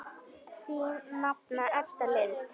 Þín nafna Edda Lind.